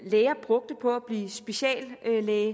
læger brugte på at blive speciallæge